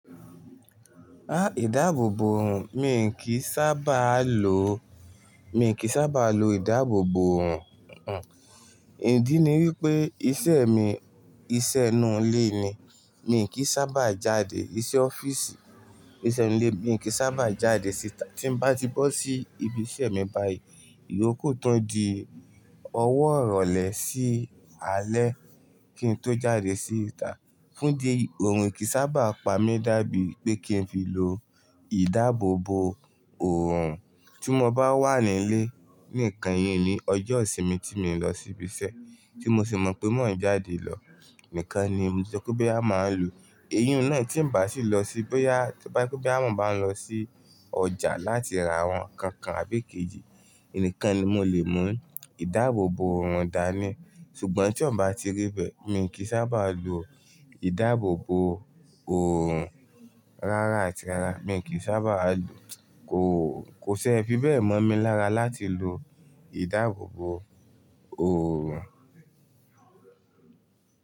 Ah, ìdáàbòbò òòrùn, mi kìí sábà lo, mi kìí sábà lo ìdáàbòbò òòrùn. Hmh, ìdí ni wípé iṣẹ́ mi, iṣẹ́ inú ilé ni, mi kìí sábà jáde, iṣẹ́ ọ́fíìsì, iṣẹ́ inú ilé mi kìí sábà jáde síta. Tí n bá ti bọ́ sí ibi iṣẹ́ mi báyìí, ìyóku tun di ọwọ́ ìrọ̀lẹ́ sí alẹ́ kí n tó jáde síta. Fún idi eyi, òòrùn kìí sábà pa mí dàbí pé kí n fi lo ìdáàbòbò òòrùn. Tí mo bá wà nílé, ní kann yìí ni ọjọ́ ìsinmi tí mi ń lọ sí ibi iṣẹ́ tí mo sì mọ̀ pé mo n jáde lọ, nìkan ni mo le sò pe boyá máa lo. Èyí n náà tí n bà sí lọ sí, bóyá tí bá je pe boyá, mo ba ń lọ sí ọjà láti ra àwọn nǹkan kan àbí ikejì, nìkan ni mo lè mú ìdáàbòbò òòrùn dání. Ṣùgbọ́n tí ọ̀ bá ti rí bẹ́ẹ̀, mi kìí sábà lo ìdáàbòbò òòrùn rárá àti rárá. Mi kìí sábà lo kò, kò ṣe é fi bẹ́ẹ̀ mọ̀ mí lára láti lo ìdáàbòbò òòrùn.